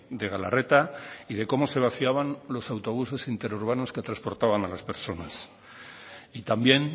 de galarreta y de cómo se vaciaban los autobuses interurbanos que transportaban a las personas y también